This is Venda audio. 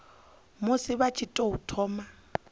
musi vha tshi tou thoma